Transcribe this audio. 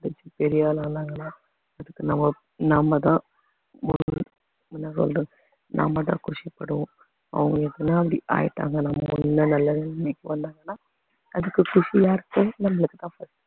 படிச்சி பெரிய ஆளு ஆனாங்கன்னா அதுக்கு நம்ம நாம தான் என்ன சொல்லுறது நாம தான் குஷி படுவோம் அவங்க எதுனா அப்படி ஆயிட்டாங்க நல்ல நிலைமைக்கு வந்தாங்கன்னா அதுக்கு குஷி யாருக்கு நம்மளுக்கு தான்